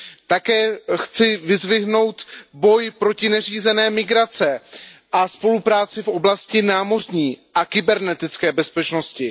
Také chci vyzdvihnout boj proti neřízené migraci a spolupráci v oblasti námořní a kybernetické bezpečnosti.